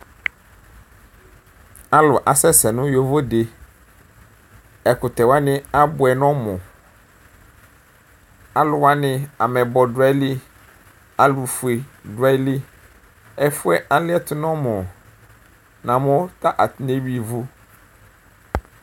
Alu asɛsɛ nu yovode ɛkutɛ wani abuɛ nu ɔmuuluwani ameyibɔ du ayiʋ ili, alu ofue du aɣili ɛfu yɛ aliɛtu nu ɔmunamu ta atani ewʋuia ivu